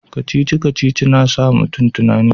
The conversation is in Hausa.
kacici-kacici na sa mu tunani